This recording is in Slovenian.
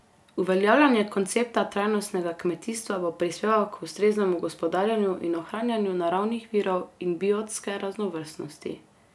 Uveljavljanje koncepta trajnostnega kmetijstva bo prispevek k ustreznemu gospodarjenju in ohranjanju naravnih virov in biotske raznovrstnosti.